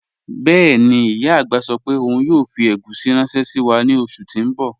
Bẹẹni, iya agbá sọ pe ọun yoo fi egusi ranṣẹ si wa ni oṣu ti n bọ